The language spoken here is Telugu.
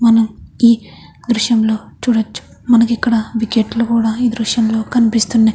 మనము ఈ దృశ్యంలో చూడవచ్చు మనకి ఇక్కడ వికెట్ లు కూడ ఈ దృశ్యం లో కనిపిస్తున్నాయి.